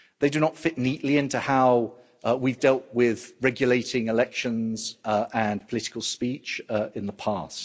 They do not fit neatly into how we've dealt with regulating elections and political speech in the past.